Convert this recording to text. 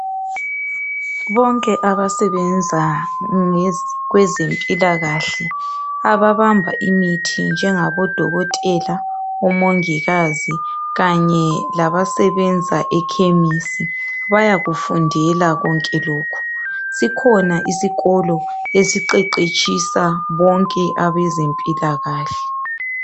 bonke abasebenza kwezempilakahle ababamba imithi njengabo dokotela omongikazi kanye labasebenza ekhemisi bayakufundela konke lokhu sikhona isikolo esiqeqetshisa bonke abezempilakahle